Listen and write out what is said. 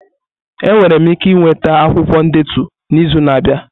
Enwere m ike ịnweta akwụkwọ ndetu n'izu na-abịa?